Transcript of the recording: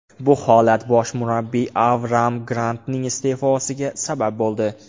Bu holat bosh murabbiy Avraam Grantning iste’fosiga sabab bo‘ldi.